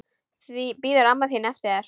Bíður amma þín eftir þér?